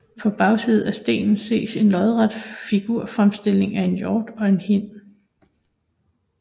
På bagsiden af stenen ses en lodret figurfremstilling af en hjort og en hind